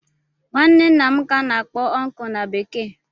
Nwanne ńnà m ka ana akpọ "uncle" na bekee.